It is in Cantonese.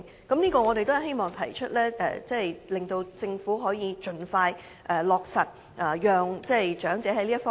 這些我們都希望提出來，促請政府盡快落實，讓長者可以安心。